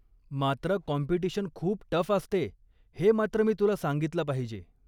मात्र, काॅम्पिटिशन खूप टफ असते हे मात्र मी तुला सांगितलं पाहिजे.